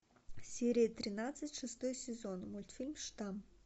серия тринадцать шестой сезон мультфильм штамм